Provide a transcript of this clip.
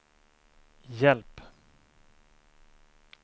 hjälp